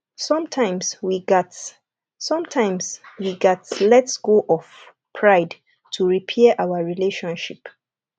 sometimes we gats sometimes we gats let go of pride to repair our relationship